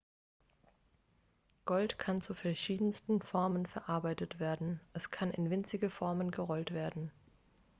gold kann zu verschiedensten formen verarbeitet werden es kann in winzige formen gerollt werden